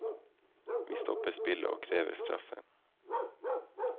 Vi stopper spillet og krever straffe.